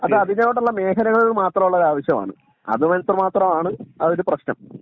അത് അതിനോടുള്ള മേഖലകളിൽ മാത്രം ഉള്ള ഒരു ആവിശ്യം ആണ്.അത് മാത്രമാണ് അതൊരു പ്രശ്നം